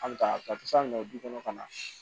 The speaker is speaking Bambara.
An bɛ taa ka taa minɛw du kɔnɔ ka na